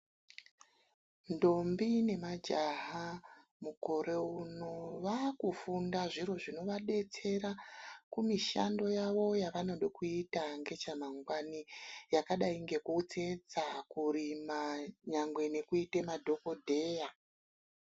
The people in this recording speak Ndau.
Ndombi nemajaha mukore uno vaakufunda zviro zvinovadetsera kumishando yavo yavanode kuita nechamangwani yakadai nekutsetsa, kurima nyangwe nekuite madhogodheya.